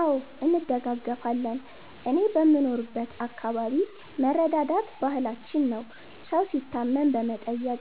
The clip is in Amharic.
አዎ እንደጋገፋለን እኔ በምኖርበት አከባቢ መረዳዳት ባህላችን ነው። ሠው ሲታመም በመጠየቅ